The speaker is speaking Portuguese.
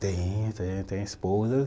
Tem, tem, tem esposa.